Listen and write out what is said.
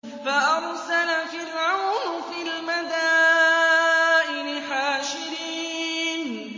فَأَرْسَلَ فِرْعَوْنُ فِي الْمَدَائِنِ حَاشِرِينَ